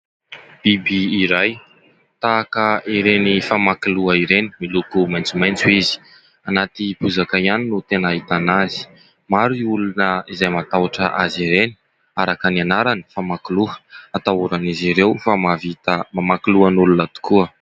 Biby iray, tahaka ireny famakiloha ireny. Miloko maitsomaitso izy. Anaty bozaka ihany no tena ahitana azy. Maro ny olona izay matahotra azy ireny araka ny anarany famakiloha, atahoran'izy ireo fa mahavita mamaky lohan'olona tokoa.